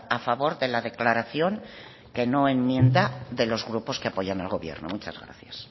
a favor de la declaración que no enmienda de los grupos que apoyan al gobierno muchas gracias